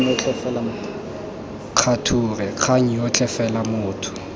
kgature kgang yotlhe fela motho